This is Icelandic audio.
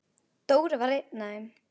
Dóri var einn af þeim.